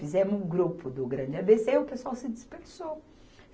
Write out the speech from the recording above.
Fizemos um grupo do Grande A Bê Cê e o pessoal se dispersou.